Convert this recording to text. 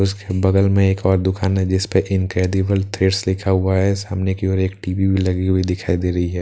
उसके बगल में एक और दुकान है जिस पे इंक्रेडिबल थ्रेड्स लिखा हुआ है सामने की ओर एक टी_वी लगी हुई दिखाई दे रही है।